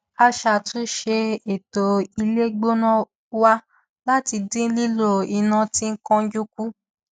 a ṣe àtúnṣe ètò ilé gbóná wa láti dín lílò iná tí kánjú kù